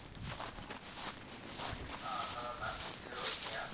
அஹ் hello ma'am இது ரோஸ்னியா